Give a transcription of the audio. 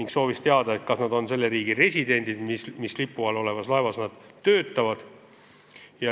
Ta soovis teada, kas nad on selle riigi residendid, kelle lipu all olevas laevas nad töötavad.